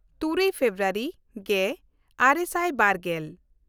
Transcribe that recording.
ᱛᱩᱨᱩᱭ ᱯᱷᱮᱵᱨᱩᱣᱟᱨᱤ ᱜᱮᱼᱟᱨᱮ ᱥᱟᱭ ᱵᱟᱨᱜᱮᱞ